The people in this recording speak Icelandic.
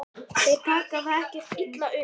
Þeir taka það ekkert illa upp.